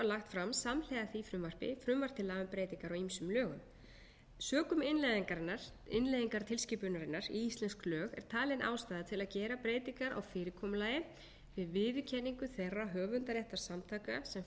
lagt fram samhliða því frumvarpi frumvarp til laga um breytingar á ýmsum lögum sökum innleiðingar tilskipunarinnar í íslensk lög er talin ástæða til að gera breytingar á fyrirkomulagi við viðurkenningu þeirra höfundaréttarsamtaka sem fara með